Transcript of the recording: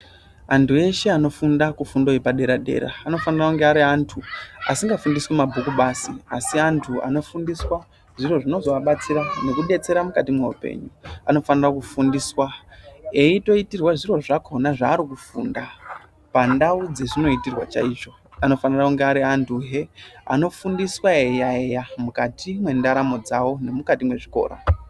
Antu eshe anofunda kufundo yepadera dera anofana kunge ariantu asingafundiswi mabhuku basi asi antu anofundiswa zviro zvinozoabatsira nekubetsera mukati meupenyu. Anofanira kufundiswa eyitoitirwa zviro zvakona zvarikufunda pandau dzezvinoitirwa chaizvo anofana kunge aruantu he anofundiswa eyi yaeya mukati mwendaramo dzawo nemukati mwezvikora.